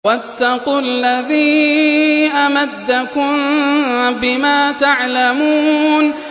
وَاتَّقُوا الَّذِي أَمَدَّكُم بِمَا تَعْلَمُونَ